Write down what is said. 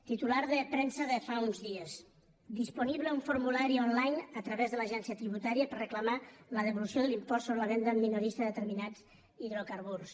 titular de premsa de fa uns dies disponible un formulari online a través de l’agència tributària per reclamar la devolució de l’impost sobre la venda en minorista de determinats hidrocarburs